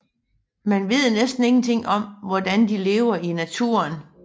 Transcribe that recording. Man ved næsten ingenting om hvordan de lever i naturen